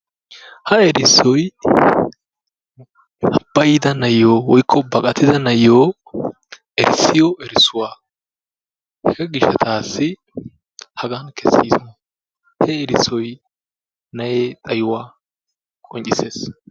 Ha exxisoy ha bayida na'aiyo woykko baqqatida na'aaiyo erissuwaa. Hegaa gishshatasi ha keesis. He erissoy na'ee xaayuwaa qonccises.